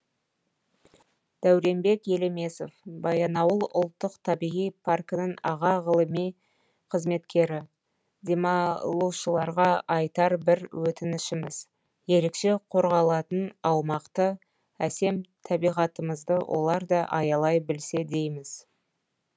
дәуренбек елемесов баянауыл ұлттық табиғи паркінің аға ғылыми қызметкері демалушыларға айтар бір өтінішіміз ерекше қорғалатын аумақты әсем табиғатымызды олар да аялай білсе дейміз